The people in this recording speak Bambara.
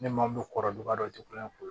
Ne maa min kɔrɔ duba dɔ tɛ kulonkɛ